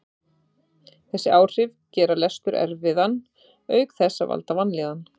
Þessi áhrif gera lestur erfiðan auk þess að valda vanlíðan.